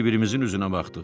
Bir-birimizin üzünə baxdıq.